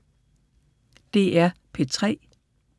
DR P3